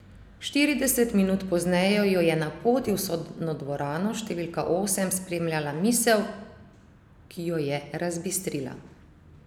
Štirideset minut pozneje jo je na poti v sodno dvorano številka osem spremljala misel, ki jo je razbistrila.